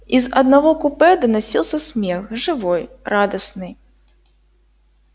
из одного купе доносился смех живой радостный